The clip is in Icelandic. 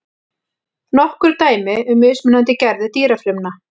Nokkur dæmi um mismunandi gerðir dýrafrumna.